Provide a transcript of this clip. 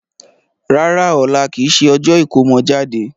Rárá, ọ̀la kìí ṣe ọjọ́ ìkómọ jáde.